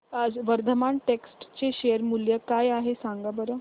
आज वर्धमान टेक्स्ट चे शेअर मूल्य काय आहे सांगा बरं